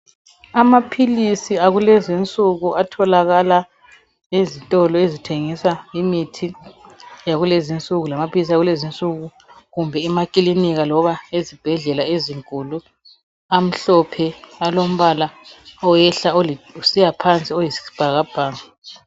Amaphilisi akulezi insuku, atholakala ezitolo ezithengisa imithi yakulezi insuku,n lamaphilisi akulezi insuku, kumbe emakilinika loba ezibhedlela ezinkulu. Amhlophe kusiya phansi, akhona ayisibhakabhaka.